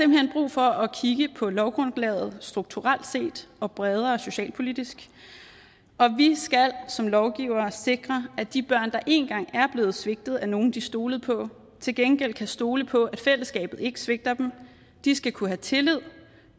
for at kigge på lovgrundlaget strukturelt set og bredere socialpolitisk og vi skal som lovgivere sikre at de børn der en gang er blevet svigtet af nogle de stolede på til gengæld kan stole på at fællesskabet ikke svigter dem de skal kunne have tillid